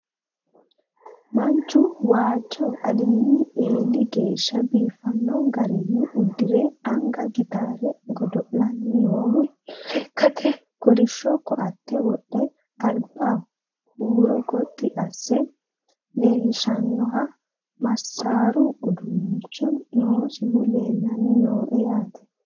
Manchu waajjo alinni eeli geeshsha biiffanno garinni udirre anga gittare godo'lanni noohu, lekkatte kolishsho koatte wodhe, alibba huuro gotti asse leelishshannoha masaaru uduunnichi noosihu leelanni noo yaatte